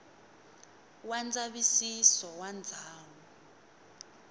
wa ndzavisiso wa ndhawu ya